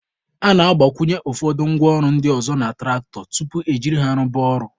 A na-agbakwụnye ụfọdụ ngwa ọrụ ndị ọzọ na tụractọ tupu e jiri ha rụba ọrụ